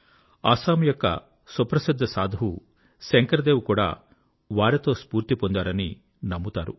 అస్సాం యొక్క సుప్రసిద్ధ సాధువు శంకర్ దేవ్ కూడా వారితో స్ఫూర్తి పొందారని నమ్ముతారు